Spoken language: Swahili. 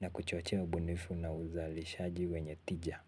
na kuchochea ubunifu na uzalishaji wenye tija.